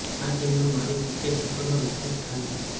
આ ટીમનું મારી ક્રિકેટ સફરમાં વિશેષ સ્થાન છે